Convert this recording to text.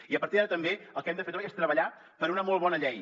i a partir d’ara també el que hem de fer és treballar per una molt bona llei